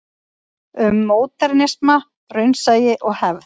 Um módernisma, raunsæi og hefð.